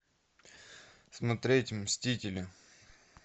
смотреть мстители